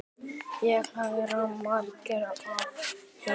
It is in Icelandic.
Ég lærði margt af henni.